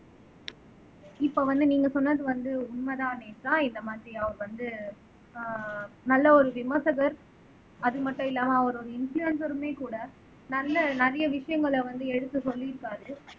இப்ப வந்து நீங்க சொன்னது வந்து உண்மைதான் நேத்ரா இந்த மாதிரி அவர் வந்து ஆஹ் நல்ல ஒரு விமர்சகர் அது மட்டும் இல்லாம அவர் ஒரு இன்ப்லூயென்சறுமே கூட நல்ல நிறைய விஷயங்களை வந்து எடுத்து சொல்லியிருக்காரு